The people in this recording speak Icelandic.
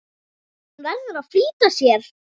Hún verður að flýta sér.